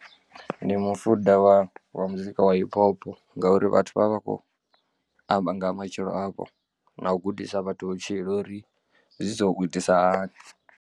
Ndi mufuda wa muzika wa hip hop ngauri vhathu vha vha vha khou amba nga ha matshilo avho na u gudisa vhathu vhutshilo uri zwi so u itisa hani.